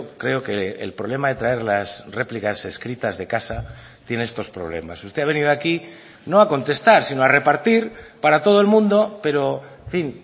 creo que el problema de traer las réplicas escritas de casa tiene estos problemas usted ha venido aquí no a contestar sino a repartir para todo el mundo pero en fin